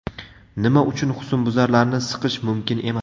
Nima uchun husnbuzarlarni siqish mumkin emas?.